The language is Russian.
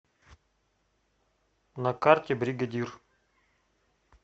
на карте бригадир